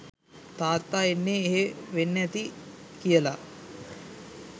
තාත්තා ඉන්නේ එහෙ වෙන්න ඇති කියලා